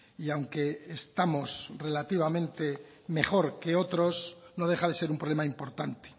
y aunque estamos relativamente mejor que otros no deja de ser un problema importante